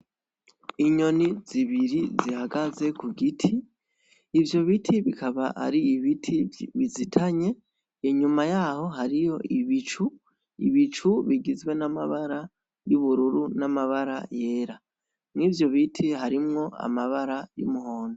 Inyoni zibiri zihagaze ku giti, ivyo biti bikaba ari ibiti bizitanye, inyuma yaho hariyo ibicu, ibicu bigizwe n'amabara y'ubururu n'amabara yera, mwivyo biti harimwo amabara y'umuhondo.